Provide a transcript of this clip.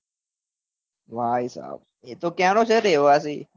ભાઈ સબ એતો ક્યાં નો છે રેહવાસી કયા દેસ નો